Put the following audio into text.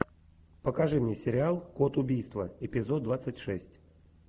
покажи мне сериал код убийства эпизод двадцать шесть